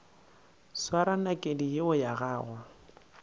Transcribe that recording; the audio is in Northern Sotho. swara nakedi yeo ya gago